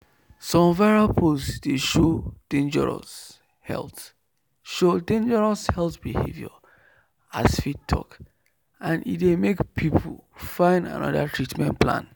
some viral post dey show dangerous health show dangerous health behavior as faith talk and e dey make people find another treatment plan.